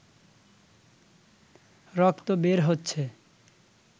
রক্ত বের হচ্ছে